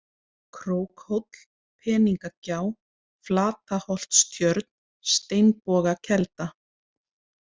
Krókhóll, Peningagjá, Flataholtstjörn, Steinbogakelda